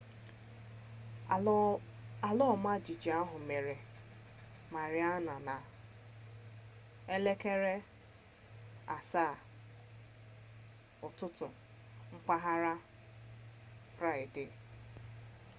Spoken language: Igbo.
ala ọma jijiji ahụ mere mariana na 07:19 elekere ụtụtụ mpaghara 09:19 p.m. gmt friday